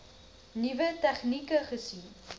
nuwe tegnieke gesien